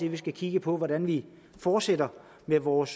at vi skal kigge på hvordan vi fortsætter med vores